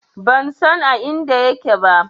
Ban san a inda yake ba.